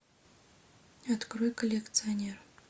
открой коллекционер